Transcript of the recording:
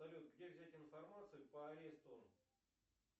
салют где взять информацию по аресту